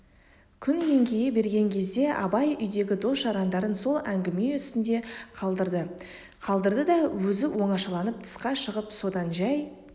күн еңкейе берген кезде абай үйдегі дос-жарандарын сол әңгіме үстінде қалдырды да өзі оңашаланып тысқа шығып содан жай